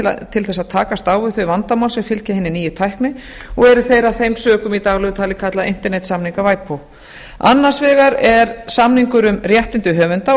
að takast á við þau vandamál sem fylgja hinni nýju tækni og eru þeir af þeim sökum í daglegu tali kallaðir internetssamningar ipod annars vegar er samningur um réttindi höfunda og